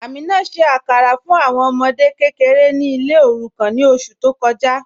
Amina ṣẹ̀ àkàrà fún awọn ọmọdè kẹkẹ̀rẹ̀ ní ilẹ̀ òrùkàn ní oṣù tó kọja